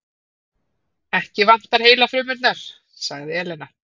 Ekki vantar heilafrumurnar, sagði Elena.